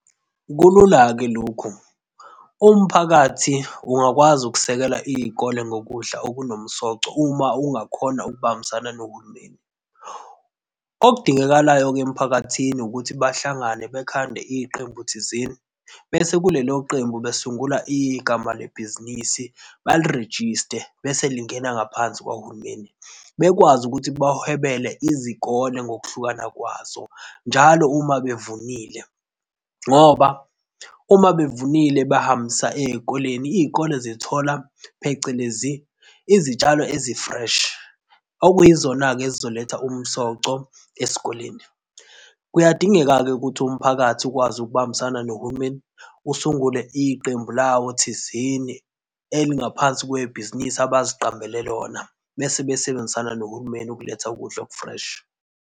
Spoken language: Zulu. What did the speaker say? Kulula-ke lokhu, umphakathi ungakwazi ukusekela izikole ngokudla okunomsoco uma ungakhona ukubambisana nohulumeni. Okudingakalayo-ke emphakathini ukuthi bahlangane bekhande iqembu thizeni bese kulelo qembu basungula igama lebhizinisi, bali rejiste bese lingena ngaphansi kukahulumeni. Bekwazi ukuthi bahwebele izikole ngokuhlukana kwazo njalo uma bevunile, ngoba uma bevunile bahambisa ezikoleni, izikole zithola phecelezi izitshalo ezi-fresh, okuyizona-ke ezizoletha umsoco esikoleni. Kuyadingeka-ke ukuthi umphakathi ukwazi ukubambisana nohulumeni usungule iqembu lawo thizeni elingaphansi kwebhizinisi abaziqambele lona bese besebenzisana nohulumeni ukuletha ukudla oku-fresh.